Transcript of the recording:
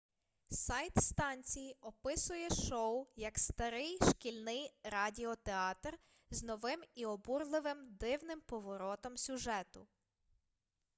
сайт станції описує шоу як старий шкільний радіотеатр з новим і обурливим дивним поворотом сюжету